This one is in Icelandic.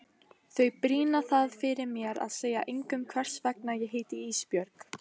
Þau brýna það fyrir mér að segja engum hvers vegna ég heiti Ísbjörg.